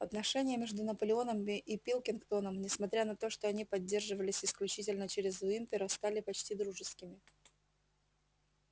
отношения между наполеоном и пилкингтоном несмотря на то что они поддерживались исключительно через уимпера стали почти дружескими